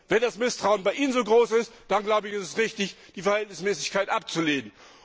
Und wenn das Misstrauen bei Ihnen so groß ist, dann glaube ich, ist es richtig, die Verhältnismäßigkeit abzulehnen.